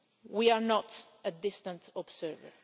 We are not a distant observer.